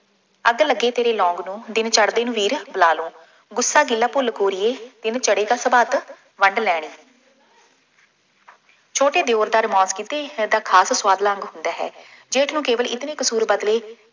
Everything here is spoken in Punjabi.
ਅੱਗ ਲੱਗੇ ਤੇਰੇ ਲੌਂਗ ਨੂੰ, ਦਿਨ ਚੜ੍ਹਦੇ ਨੂੰ ਵੀਰ ਬੁਲਾ ਲੂੰ, ਗੁੱਸਾ ਗਿਲਾ ਭੁੱਲ ਗੋਰੀਏ, ਦਿਨ ਚੜ੍ਹੇ ਤਾਂ ਸਵੱਬ ਵੰਡ ਲੈਂਦੇ ਛੋਟੇ ਦਿਉਰ ਦਾ ਕਿਤੇ ਹੀ ਇਹ ਤਾਂ ਖਾਸ ਹੁੰਦਾ ਹੈ, ਜੇ ਤੂੰ ਕੇਵਲ ਇਤਨੇ ਕਸੂਰ ਬਦਲੇ